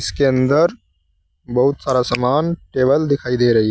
के अंदर बहुत सारा सामान टेबल दिखाई दे रही है।